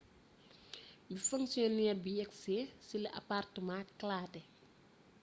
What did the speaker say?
bi fonctionnaire bi yegsee ci la appartement kalaate